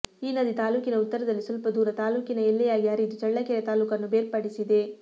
ಈ ನದಿ ತಾಲ್ಲೂಕಿನ ಉತ್ತರದಲ್ಲಿ ಸ್ವಲ್ಪ ದೂರ ತಾಲ್ಲೂಕಿನ ಎಲ್ಲೆಯಾಗಿ ಹರಿದು ಚಳ್ಳಕೆರೆ ತಾಲ್ಲೂಕನ್ನು ಬೇರ್ಪಡಿಸಿದೆ